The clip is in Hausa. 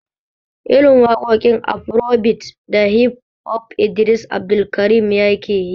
Irin waƙoƙi afarobit da hif hof Idris Abdulkarim yake yi